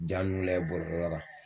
Ja ninnu lajɛ bɔlɔlɔ kan.